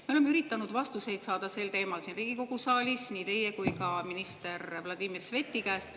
Me oleme üritanud vastuseid saada sel teemal siin Riigikogu saalis nii teie kui ka minister Vladimir Sveti käest.